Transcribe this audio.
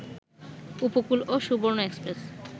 উপকূল ও সুবর্ণ এক্সপ্রেস